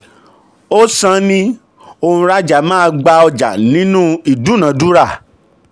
ó san ni òǹrajà máa gba ọjà nínú ìdúnnàdúnrà.